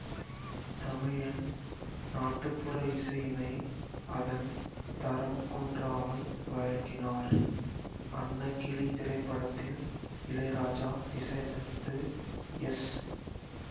தமிழின் நாட்டுப்புற இசையினை அதன் தரம் குன்றாமல் வழங்கினார் அன்னக்கிளி திரைப்படத்தில் இளையராஜா இசையமைத்து எஸ்